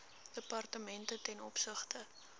departemente ten opsigte